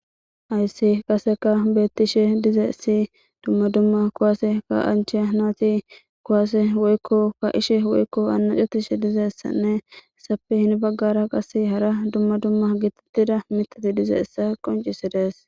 Hyssi qaseka bettishe dize si dumma dumma kowase ka'ancheya naati kowase woykko ka ishe woykko annacutishe dizeessanne sape hin baggara qase hara dumma dumma gitittida mitati dize essa qoncisidees.